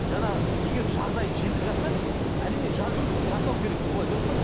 жаңа егер жағдайы жетіп жатса әрине жасау керек олай дұрыс па